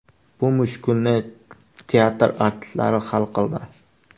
Bu mushkulni teatr artistlari hal qildi.